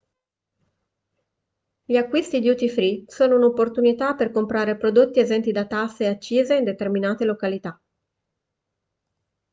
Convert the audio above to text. gli acquisti duty free sono un'opportunità per comprare prodotti esenti da tasse e accise in determinate località